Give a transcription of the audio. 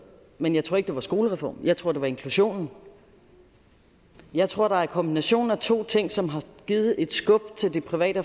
men jeg tror ikke det var skolereformen jeg tror det var inklusionen jeg tror der er en kombination af to ting som har givet et skub til de private